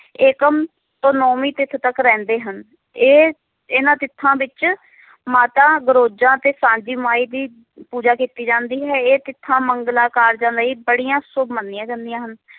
ਏਕਮ ਤੋਂ ਨਾਵਮੀ ਤਿਥ ਤੱਕ ਰਹਿੰਦੇ ਹਨ ਇਹ ਇਹਨਾਂ ਤਿਥਾਂ ਵਿਚ ਮਾਤਾ ਗਰੋਜਾਂ ਤੇ ਸਾਂਝਿਮਾਈ ਦੀ ਪੂਜਾ ਕੀਤੀ ਜਾਂਦੀ ਹੈ ਇਹ ਤਿਥਾਂ ਮੰਗਲਾਂ ਕਾਰਜਾਂ ਲਈ ਬੜੀਆਂ ਸ਼ੁਭ ਮੰਨਿਆਂ ਜਾਂਦੀਆਂ ਹਨ